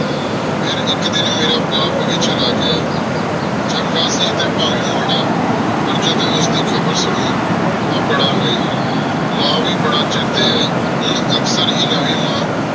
ਫੇਰ ਇਕ ਦਿਨ ਮੇਰਾ ਬਾਪ ਵੀ ਚਲਾ ਗਯਾ ਚੰਗਾ ਸੀ ਟੀ ਪੰਵ੍ਯ ਮਰਾ ਪਰ ਜਦੋਂ ਉਸਦੀ ਖਬਰ ਸੁਨੀ ਟੀ ਬਾਰਾ ਰੋਈ ਮਾਂ ਵੀ ਬਾਰਾ ਛੇਤੀ ਆਈ ਹੁਣ ਅਕਸਰ ਹੇ